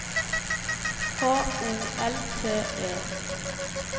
H O L T E